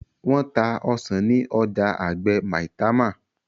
Wón tá ọsán ní ọjà àgbè Maitama